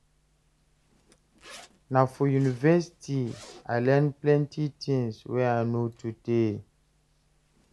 Na for university I learn plenty tins wey I know today.